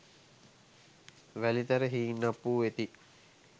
වැලිතර හීන්අප්පු වෙති.